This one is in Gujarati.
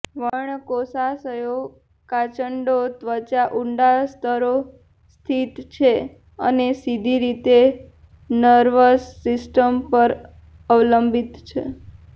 વર્ણકોષાશયો કાચંડો ત્વચા ઊંડા સ્તરો સ્થિત છે અને સીધી રીતે નર્વસ સિસ્ટમ પર અવલંબિત છે